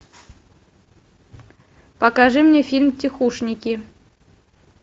покажи мне фильм тихушники